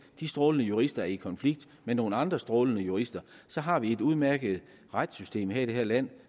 de strålende jurister er i konflikt med nogle andre strålende jurister har vi et udmærket retssystem her i landet